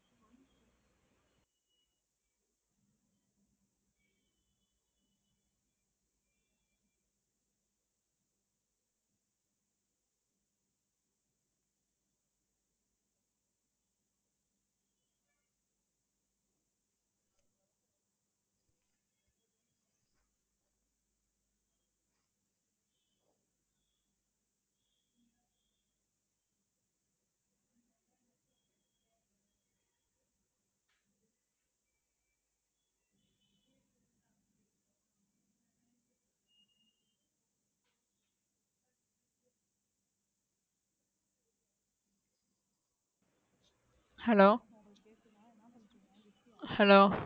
hello hello